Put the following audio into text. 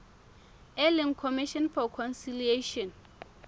e leng commission for conciliation